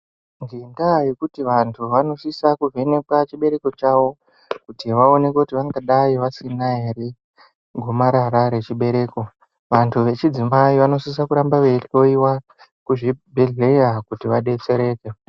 Ngenda yekuti vantu vanosisa kuvhenekwe chibereko chavo kuti vaonekwe vangadai vasina ere nhegomarara rechibereko vantu vechidzimai vanosisa ramba veihloiwa kuzvibhehleya kuti vadetsereke.